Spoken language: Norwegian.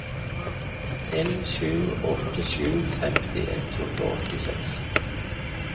en sju åtte sju femti ett hundre og åttiseks